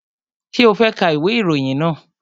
Ṣé o fẹ́ ka ìwé ìròyìn náà?